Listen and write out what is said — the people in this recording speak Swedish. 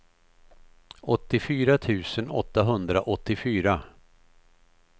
åttiofyra tusen åttahundraåttiofyra